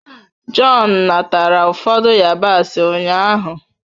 John natara ụfọdụ yabasị ụnyaahụ